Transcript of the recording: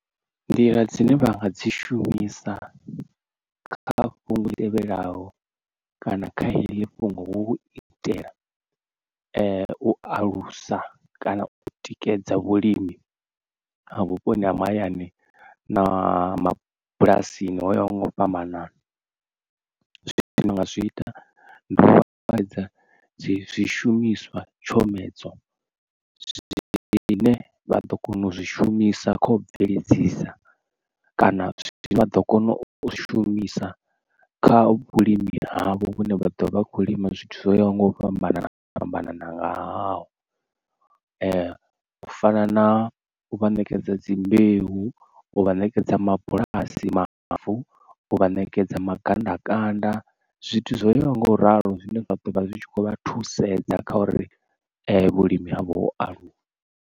Nḓila dzine vha nga dzi shumisa kha fhungo ḽi tevhelaho kana kha heḽi fhungo hu u itela u alusa kana u tikedza vhulimi ha vhuponi ha mahayani na mabulasini o yaho nga u fhambanana zwi ita ndi u afhadza zwishumiswa tshomedzo zwine vha ḓo kona u zwi shumisa khou bveledzisa kana zwi vha ḓo kona u shumisa kha vhulimi havho vhune vha ḓo vha khou lima zwithu zwoyaho nga u fhambanana fhambana ngahao u fana na u vha ṋekedza dzi mbeu, u vha ṋekedza mabulasi mavu. U vha ṋekedza magandakanda zwithu zwoyaho nga u ralo zwine zwa ḓo vha zwi tshi khou vha thusedza kha uri vhulimi havho aluwa.